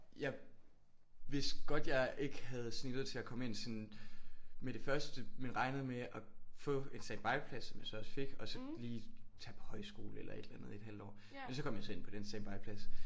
Jeg vidste godt jeg ikke havde snittet til at komme ind sådan med det første men regnede med at få en standby-plads som jeg så også fik og så lige tage på højskole eller et eller andet i et halvt år men så kom jeg så ind på den standby-plads